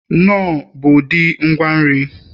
knorr bụ ụdị ngwa nri